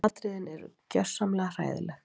Atriðin eru gjörsamlega hræðileg